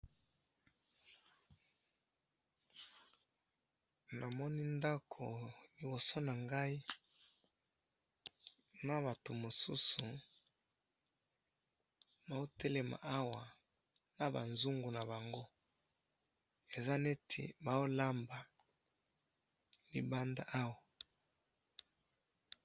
Namoni ndako liboso na ngai na batu mosusu bazo telema awa na ba nzungu na bango, eza neti bao lamba libanda awa